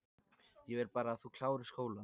Ég vil bara að þú klárir skólann